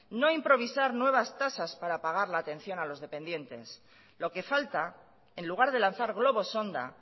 no improvisar nuevas tasas para pagar la atención a los dependientes lo que falta en lugar de lanzar globos sonda